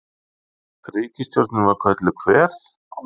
Ríkisstjórnin var kölluð Hver?